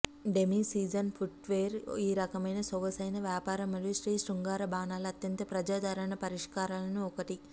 demi season footwear ఈ రకమైన సొగసైన వ్యాపార మరియు స్త్రీ శృంగార బాణాలు అత్యంత ప్రజాదరణ పరిష్కారాలను ఒకటి